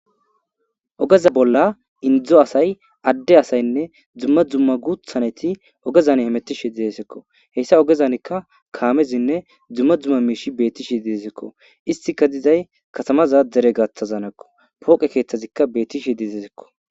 Ogezza bolla henzzu asay dumm dumma gutha naytti ogezza bolla hemetishe dossonakko hessa ogezzankka kammezine dumma dumma bay betishe dessikko hessikka katama gathanakko poqqetikka betishe dizzakko.